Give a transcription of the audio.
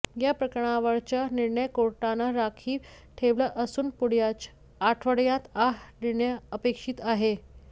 या प्रकरणावरचा निर्णय कोर्टानं राखीव ठेवला असून पुढच्या आढवड्यात हा निर्णय अपेक्षीत आहे